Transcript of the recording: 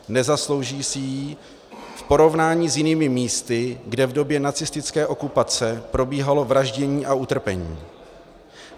Nezaslouží si ji v porovnání s jinými místy, kde v době nacistické okupace probíhalo vraždění a utrpení.